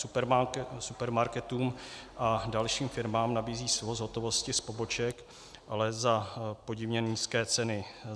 Supermarketům a dalším firmám nabízí svoz hotovosti z poboček, ale za podivně nízké ceny.